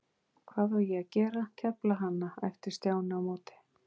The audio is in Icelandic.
Hvað á ég að gera, kefla hana? æpti Stjáni á móti.